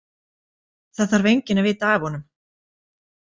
Það þarf enginn að vita af honum.